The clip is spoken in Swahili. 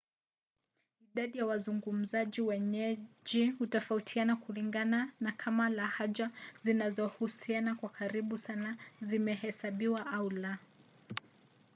idadi ya wazungumzaji wenyeji hutofautiana kulingana na kama lahaja zinazohusiana kwa karibu sana zinahesabiwa au la